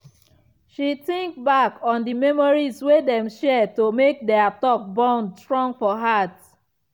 she think back on the memories wey dem share to make their talk bond strong for heart.